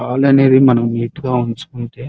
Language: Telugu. హాల్ అనేది మనం నీట్ గా ఉంచుకుంటే --